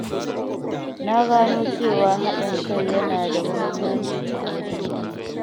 Na gano cewa haɗin kai yana da muhimmanci a wajen aiki.